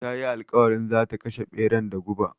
Ta yi alƙawarin zata kashe ɓeran da guba